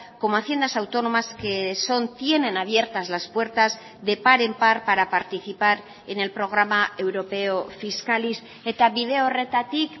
como haciendas autónomas que son tienen abiertas las puertas de par en par para participar en el programa europeo fiscalis eta bide horretatik